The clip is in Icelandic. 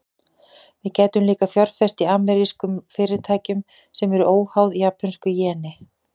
Við gætum líka fjárfest í amerískum fyrirtækjum, sem eru óháð japönsku jeni.